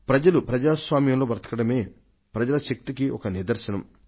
ప్రజలు ప్రజాస్వామ్యంలో బతకడమే ప్రజల శక్తికి ఒక నిదర్శనం